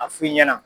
A f'i ɲɛna